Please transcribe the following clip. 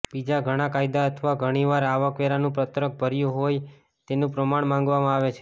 બીજા ઘણા કાયદા અથવા ઘણીવાર આવકવેરાનું પત્રક ભર્યું હોય તેનું પ્રમાણ માંગવામાં આવે છે